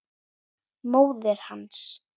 Móðir hans!